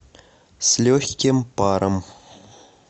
с легким паром